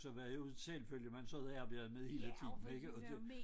Så var det jo en selvfølge man sad og arbejdede hele tiden ikke og det